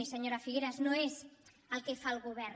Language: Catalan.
i senyora figueras no és el que fa el govern